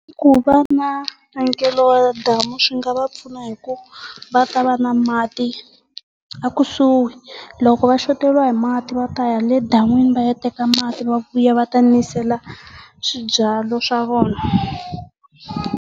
Ku va na ya damu swi nga va pfuna hikuva va ta va na mati ekusuhi loko va shoteriwa hi mati va ta ya le dan'wini va ya teka mati va vuya va ta nisela swibyariwa swa vona.